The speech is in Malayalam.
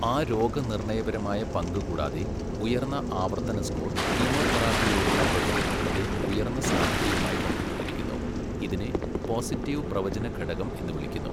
ആ രോഗനിർണയപരമായ പങ്ക് കൂടാതെ, ഉയർന്ന ആവർത്തന സ്കോർ കീമോതെറാപ്പിയോടുള്ള പ്രതികരണത്തിന്റെ ഉയർന്ന സാധ്യതയുമായി ബന്ധപ്പെട്ടിരിക്കുന്നു, ഇതിനെ പോസിറ്റീവ് പ്രവചന ഘടകം എന്ന് വിളിക്കുന്നു.